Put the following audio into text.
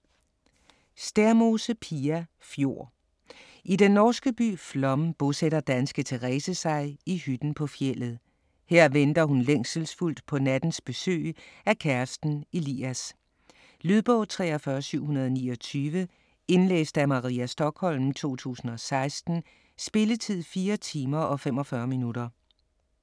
Stærmose, Pia: Fjord I den norske by Flåm bosætter danske Terese sig i hytten på fjeldet. Her venter hun længselsfuldt på nattens besøg af kæresten Elias. Lydbog 43729 Indlæst af Maria Stokholm, 2016. Spilletid: 4 timer, 45 minutter.